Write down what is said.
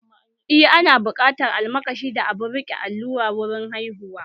Eh, ana buƙatar almakashi da abun riƙe allura wurin haihuwa